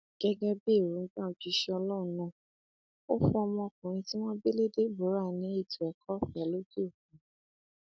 gẹgẹ bí èròǹgbà òjíṣẹ ọlọrun náà ò fún ọmọkùnrin tí wọn bí lé deborah ní ètò ẹkọọfẹ lókè òkun